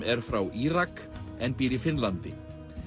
er frá Írak en býr í Finnlandi